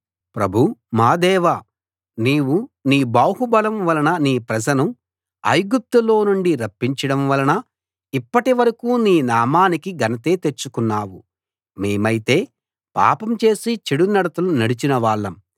ప్రభూ మా దేవా నీవు నీ బాహు బలం వలన నీ ప్రజను ఐగుప్తులో నుండి రప్పించడం వలన ఇప్పటి వరకూ నీ నామానికి ఘనత తెచ్చుకున్నావు మేమైతే పాపం చేసి చెడునడతలు నడిచిన వాళ్ళం